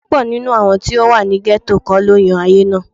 Púpọ̀ nínú àwọn tó ti wà ní gẹ́tò kọ́ ló yan ayé náà